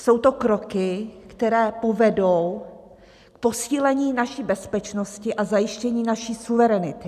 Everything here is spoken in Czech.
Jsou to kroky, které povedou k posílení naší bezpečnosti a zajištění naší suverenity.